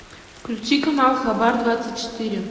включи канал хабар двадцать четыре